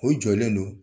U jɔlen don